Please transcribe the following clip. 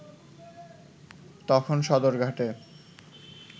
তখন সদরঘাটে